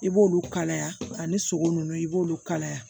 I b'olu kalaya ani sogo nunnu i b'olu kalaya